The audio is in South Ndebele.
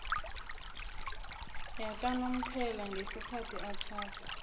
yakanomphela ngesikhathi atjhada